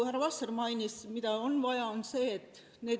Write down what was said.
Härra Vasser mainis, mida on vaja, et see saavutatakse.